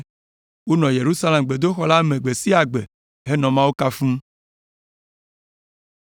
Wonɔ Yerusalem gbedoxɔ la me gbe sia gbe henɔ Mawu kafum.